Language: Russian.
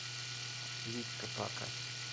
витька пака